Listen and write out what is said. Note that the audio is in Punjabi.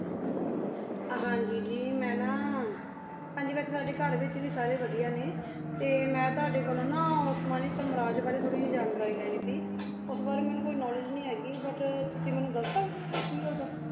ਹਾਂਜੀ ਜੀ ਮੈਂ ਨਾ ਹਾਂਜੀ ਵੈਸੇ ਸਾਡੇ ਘਰ ਵਿਚ ਵੀ ਸਾਰੇ ਵਾਦਿਯ ਨੇ ਤੇ ਮੈਂ ਤਵਾਡੀ ਕੋਲੋ ਨਾ ਓਸ੍ਮਾਨੀ ਸਾਮਰਾਜ ਬਰੀ ਥੋਰੀ ਜਾਏ ਜਾਣਕਾਰੀ ਲੇਨੀ ਸੇ ਓਸ ਬਰੀ ਮੇਨੂ ਕੋਈ ਕ੍ਨੋਵ੍ਲੇਦ੍ਗੇ ਨਹੀ ਹੇਗੀ ਬੁਤ ਤੁਸੀਂ ਮੇਨੂ ਦਸ ਸਕਦੇ ਹੋ ਕੀ ਓਦੋ